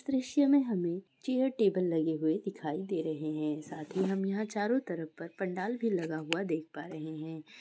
दृश्य में हमे चेयर टेबल लगे हुए दिखाई दे रहे हैं साथ ही हम यहाँ चारो तरफ पर पंडाल भी लगा हुआ देख पा रहे हैं।